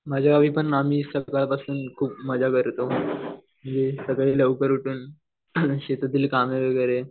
माझ्या गावी पण मी सकाळपासून मजा करतो. हे सगळे लवकर उठून शेतातील कामे वगैरे